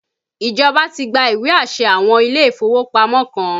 Ìjọba ti gba ìwé àṣẹ àwọn ilé ìfowópamọ́ kan